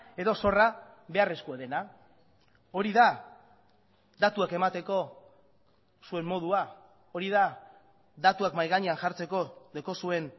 edo zorra beharrezkoa dena hori da datuak emateko zuen modua hori da datuak mahai gainean jartzeko daukazuen